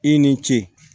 I ni ce